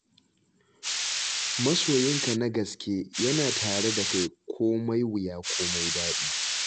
Masoyinka na gaske yana tare da kai komai wuya komai daɗi.